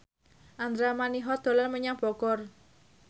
Andra Manihot dolan menyang Bogor